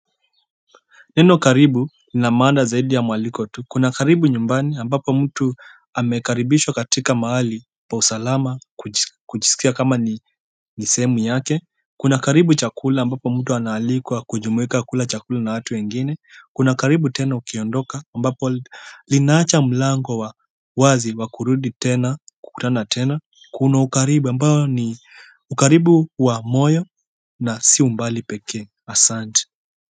Neno karibu lina maana zaidi ya mwaliko tu Kuna karibu nyumbani ambapo mtu amekaribishwa katika mahali pa usalama kujisikia kama ni sehemu yake kuna karibu chakula ambapo mtu anaalikwa kujumuika kula chakula na watu wengine kuna karibu tena ukiondoka ambapo linaacha mlango wa wazi wa kurudi tena kukutana tena kuna ukaribu ambayo ni ukaribu wa moyo na si umbali pekee asanti.